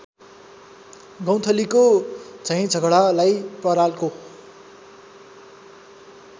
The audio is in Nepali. गौँथलीको झैँझगडालाई परालको